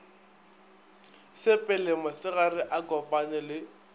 sepele mosegare a kopane le